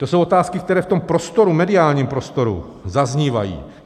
To jsou otázky, které v tom prostoru, mediálním prostoru, zaznívají.